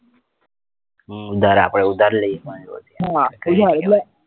હમ ઉધાર આપડે ઉધાર લઇએ એમ કોઈ ની જોડે થી